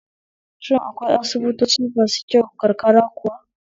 Shin akwai asibitoci masu kyau karkara kuwa?